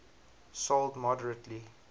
sold moderately